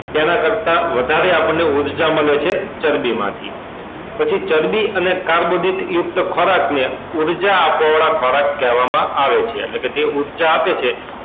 તેના કરતા વધારે આપણને ઉર્જા મળે છે ચરબી માંથી પછી ચરબી અને કાર્બોદિત યુક્ત ખોરાક ને ઉર્જા આપવા વાળા ખોરાક કહેવા માં અવ એ છે એટલે કે જે ઉર્જા આપે છે